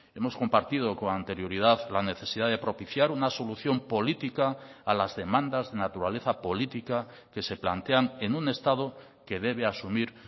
hemos compartido con anterioridad la necesidad de propiciar una solución política a las demandas de naturaleza política que se plantean en un estado que debe asumir